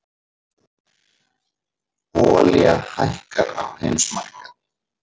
Olía lækkar á heimsmarkaði